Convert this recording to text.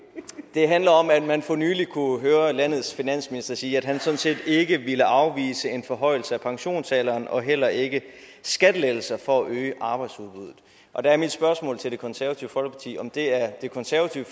det handler om at man for nylig kunne høre landets finansminister sige at han sådan set ikke ville afvise en forhøjelse af pensionsalderen og heller ikke skattelettelser for at øge arbejdsudbuddet og der er mit spørgsmål til det konservative folkeparti om det er det konservative